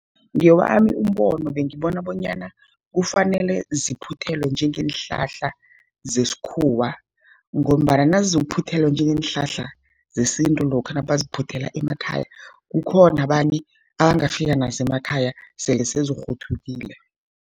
Ngewami umbono bengibona bonyana kufanele ziphuthelwe njengeenhlahla zesikhuwa, ngombana nazizokuphuthelwa njengeenhlahla zesintu, lokha nabaziphuthela emakhaya, kukhona abanye abangafika nazo emakhaya sele sezikghuthulekile.